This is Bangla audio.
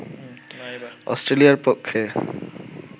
অস্ট্রেলিয়ার পক্ষে